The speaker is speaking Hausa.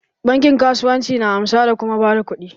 Bankin kasuwanci na amsa da kuma ba da kuɗi.